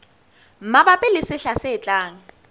mabapi le sehla se tlang